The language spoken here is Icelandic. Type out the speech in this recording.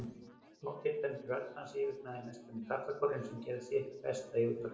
Há, titrandi rödd hans yfirgnæfði næstum karlakórinn, sem gerði sitt besta í útvarpinu.